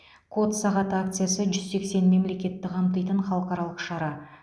код сағаты акциясы жүз сексен мемлекетті қамтитын халықаралық шара